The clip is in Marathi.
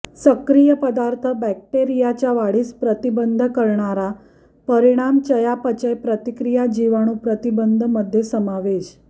सक्रिय पदार्थ बॅक्टेरियाच्या वाढीस प्रतिबंध करणारा परिणाम चयापचय प्रतिक्रिया जिवाणू प्रतिबंध मध्ये समावेश